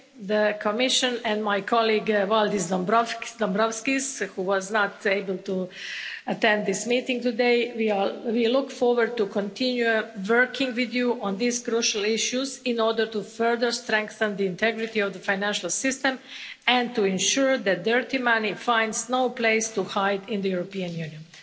The Commission and my colleague Valdis Dombrovskis, who was not able to attend this meeting today, we look forward to continuing to work with you on these crucial issues in order to further strengthen the integrity of the financial system and to ensure that dirty money finds no place to hide in the European Union.